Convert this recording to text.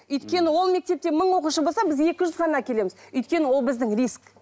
өйткені ол мектепте мың оқушы болса біз екі жүз ғана әкелеміз өйткені ол біздің риск